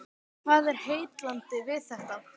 Hvað er heillandi við þetta?